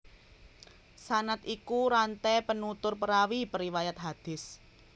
Sanad iku ranté penutur perawi periwayat hadis